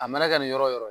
A mana kɛ nin yɔrɔ yɔrɔ